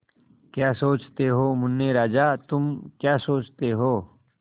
क्या सोचते हो मुन्ने राजा तुम क्या सोचते हो